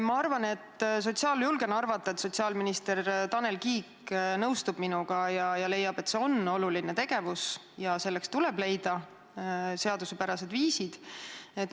Ma julgen arvata, et sotsiaalminister Tanel Kiik nõustub minuga ja leiab, et see on oluline tegevus ja selleks tuleb leida seaduspärased viisid.